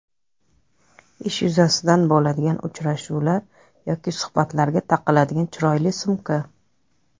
Ish yuzasidan bo‘ladigan uchrashuvlar yoki suhbatlarga taqiladigan chiroyli sumka.